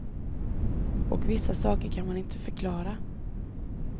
Och vissa saker kan man inte förklara.